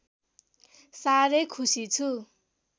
साह्रै खुसी छु